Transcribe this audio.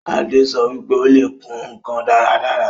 Adé sọ wípé Ó le kùn ǹkan dáradára